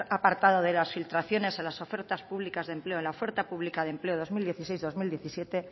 apartado de las filtraciones de las ofertas públicas de empleo en la oferta pública de empleo dos mil dieciséis dos mil diecisiete